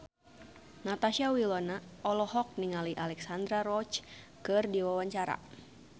Natasha Wilona olohok ningali Alexandra Roach keur diwawancara